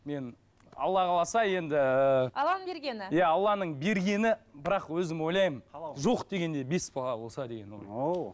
мен алла қаласа енді алланың бергені иә алланың бергені бірақ өзім ойлаймын жоқ дегенде бес бала болса деген ойым оу